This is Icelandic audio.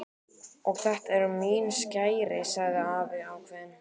Og þetta eru mín skæri sagði afi ákveðinn.